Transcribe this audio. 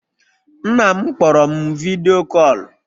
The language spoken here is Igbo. Nna m kpọrọ m vidyo kọlụ